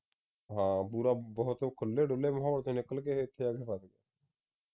ਹਾਂ ਪੂਰਾ ਬਹੁਤ ਖੁੱਲੇ ਡੁੱਲੇ ਮਾਹੌਲ ਵਿਚੋਂ ਨਿਕਲ ਕੇ ਇਹ ਇਥੇ ਆ ਕੇ ਫਸ